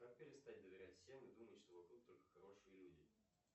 как перестать доверять всем и думать что вокруг только хорошие люди